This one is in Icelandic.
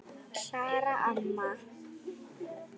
Klara amma.